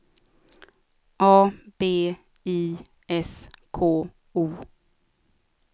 A B I S K O